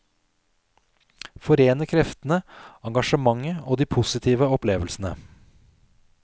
Forene kreftene, engasjementet og de positive opplevelsene.